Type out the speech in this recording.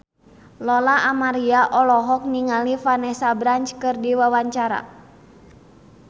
Lola Amaria olohok ningali Vanessa Branch keur diwawancara